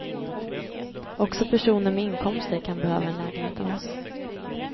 Också personer med inkomster kan behöva en lägenhet av oss.